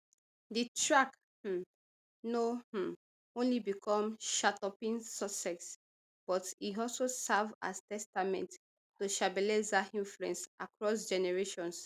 di track um no um only become charttopping success but e also serve as testament to shebeleza influence across generations